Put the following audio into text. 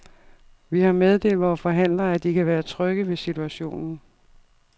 Vi har meddelt vore forhandlere, at de kan være trygge ved situationen.